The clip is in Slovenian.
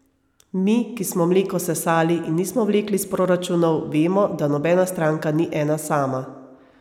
Mi, ki smo mleko sesali in nismo vlekli iz proračunov, vemo, da nobena stranka ni ena sama.